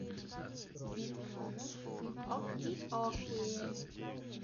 оки оки